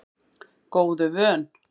Góðu vön